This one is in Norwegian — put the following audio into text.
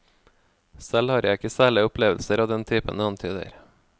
Selv har jeg ikke særlige opplevelser av den typen du antyder.